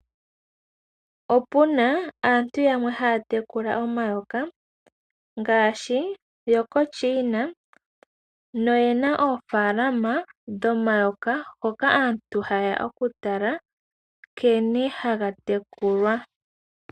Opu na aantu yamwe haya tekula omayoka ngaaahi yokoChiina, noyena oofalalama dhomayoka hoka aantu ha yeya okutala nkene haga tekulwa.